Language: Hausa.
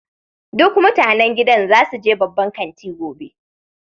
Duk mutanen gidan za su je babban kanti gobe.